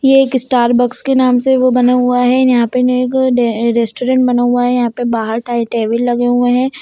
ये एकस्टारबक्स के नाम से वो बना हुआ है यहाँ पे ने एक डे रेस्टोरंट बना हुआ है यहाँ पे बाहर ताई टेबल लगे हुए है।